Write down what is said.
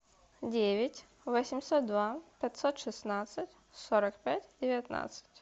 девять восемьсот два пятьсот шестнадцать сорок пять девятнадцать